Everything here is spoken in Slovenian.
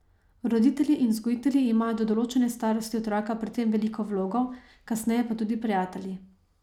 Roditelji in vzgojitelji imajo do določene starosti otroka pri tem veliko vlogo, kasneje pa tudi prijatelji.